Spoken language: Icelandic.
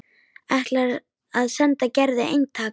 Ætlar að senda Gerði eintak.